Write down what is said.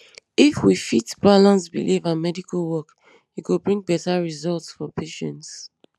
if we fit balance belief and medical work e go bring better results for patients